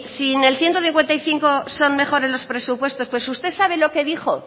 en el ciento cincuenta y cinco son mejores los presupuestos pues usted sabe lo que dijo